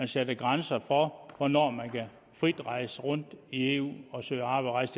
sat grænser for hvornår man frit kan rejse rundt i eu og søge arbejde